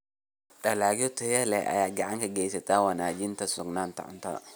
Dalagyo tayo leh ayaa gacan ka geysta wanaajinta sugnaanta cuntada.